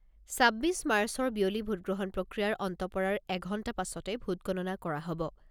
ছাব্বিছ মাৰ্চৰ বিয়লি ভোটগ্ৰহণ প্ৰক্ৰিয়াৰ অন্ত পৰাৰ এঘণ্টা পাছতে ভোটগণনা কৰা হ'ব